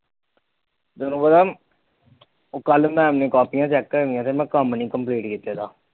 ਤੇਨੂੰ ਪਾਤ ਕੱਲ ਮੈਮ ਨੇ ਕਾਪੀਆਂ ਚੈਕ ਕਰਨੀਆਂ ਮੈ ਕੰਮ ਨੀ ਕੰਪਲੀਟ ਕੀਤਾ